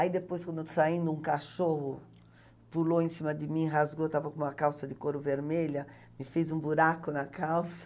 Aí depois, quando saindo, um cachorro pulou em cima de mim, rasgou, eu estava com uma calça de couro vermelha, me fez um buraco na calça.